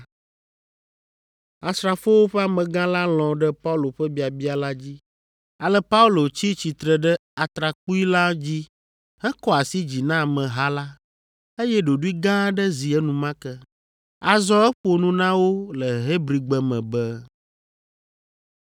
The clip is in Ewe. Asrafowo ƒe amegã la lɔ̃ ɖe Paulo ƒe biabia la dzi, ale Paulo tsi tsitre ɖe atrakpui la dzi hekɔ asi dzi na ameha la, eye ɖoɖoe gã aɖe zi enumake. Azɔ eƒo nu na wo le Hebrigbe me be: